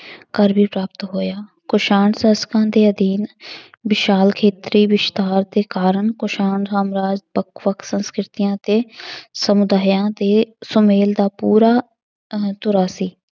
ਕਰ ਵੀ ਪ੍ਰਾਪਤ ਹੋਇਆ, ਕੁਸ਼ਾਣ ਸ਼ਾਸ਼ਕਾਂ ਦੇ ਅਧੀਨ ਵਿਸ਼ਾਲ ਖੇਤਰੀ ਵਿਸਥਾਰ ਦੇ ਕਾਰਨ ਕੁਸ਼ਾਣ ਸਾਮਰਾਜ ਵੱਖ ਵੱਖ ਸੰਸਕ੍ਰਿਤੀਆਂ ਅਤੇ ਸਮੁਦਾਇਆਂ ਦੇ ਸੁਮੇਲ ਦਾ ਪੂਰਾ ਅਹ ਧੁਰਾ ਸੀ।